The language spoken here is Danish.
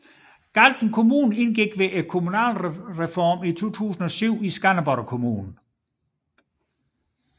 Galten Kommune indgik ved kommunalreformen i 2007 i Skanderborg Kommune